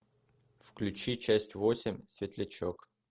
включи часть восемь светлячок